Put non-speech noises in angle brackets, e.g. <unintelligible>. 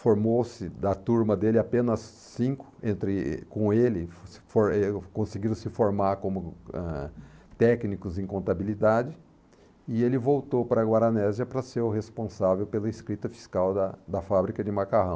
formou-se da turma dele apenas cinco, entre com ele <unintelligible> conseguiram se formar como, ãh, técnicos em contabilidade e ele voltou para a Guaranésia para ser o responsável pela escrita fiscal da da fábrica de macarrão.